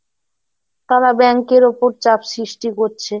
তারা bank এর উপর চাপ সৃষ্টি করছে।